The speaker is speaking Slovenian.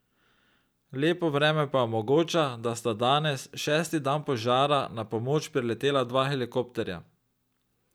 Lepo vreme pa omogoča, da sta danes, šesti dan požara, na pomoč priletela dva helikopterja.